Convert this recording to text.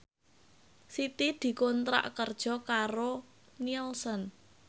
Siti dikontrak kerja karo Nielsen